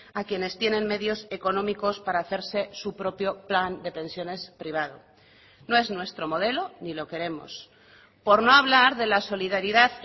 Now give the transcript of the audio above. a quienes tienen medios económicos para hacerse su propio plan de pensiones privado no es nuestro modelo ni lo queremos por no hablar de la solidaridad